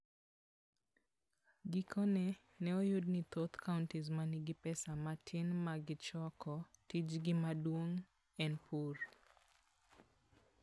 Gikone, ne oyud ni thoth counties ma nigi pesa matin ma gichoko, tijgi maduong' en pur.